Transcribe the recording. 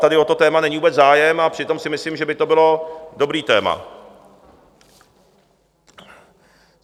Tady o to téma není vůbec zájem, a přitom si myslím, že by to bylo dobré téma.